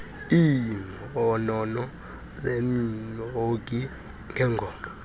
iimhono zemhongi ngengoma